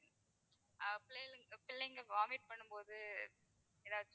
பிள்ளைகளுக்கு பிள்ளைங்க vomit பண்ணும் போது எதாச்சும்